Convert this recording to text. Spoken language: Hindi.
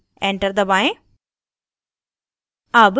enter दबाएं